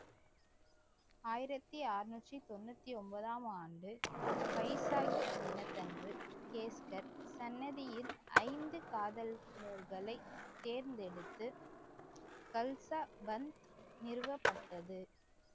ஆயிரத்தி அறுநூற்றி தொண்ணூத்தி ஒன்பதாம் ஆண்டு வைசாகி தினத்தன்று கேஸ்கர் சன்னதியில் ஐந்து காதல்களை தேர்ந்தெடுத்து கல்தா பந்த் நிறுவப்பட்டது